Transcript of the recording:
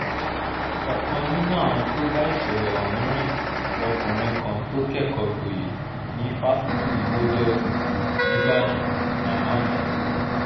ọ̀kan nínú àwọn tó bá ìṣẹ̀lẹ̀ ọ̀hún rìn lọkùnrin kan tó kẹ́kọ̀ọ́ gboyè ní fásitì model city níìbàdàn rahman azeez